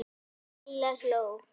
Lilla hló.